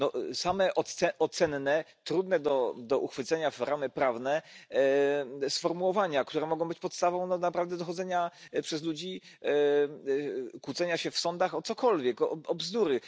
No same ocenne, trudne do uchwycenia w ramy prawne sformułowania, które mogą być podstawą do naprawdę dochodzenia przez ludzi, kłócenia się w sądach o cokolwiek, o bzdury.